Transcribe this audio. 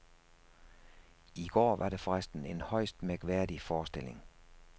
I går var det forresten en højst mærkværdig forestilling.